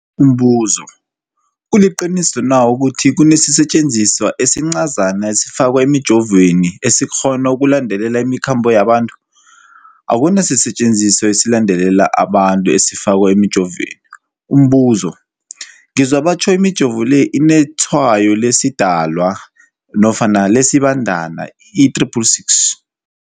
Umbuzo, kuliqiniso na ukuthi kunesisetjenziswa esincazana esifakwa emijovweni, esikghona ukulandelela imikhambo yabantu? Akuna sisetjenziswa esilandelela umuntu esifakwe emijoveni. Umbuzo, ngizwa batjho imijovo le inetshayo lesiDalwa nofana lesiBandana i-666.